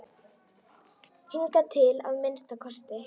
Hingað til að minnsta kosti.